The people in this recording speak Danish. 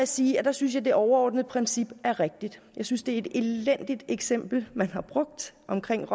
sige at der synes jeg det overordnede princip er rigtigt jeg synes det er et elendigt eksempel man har brugt omkring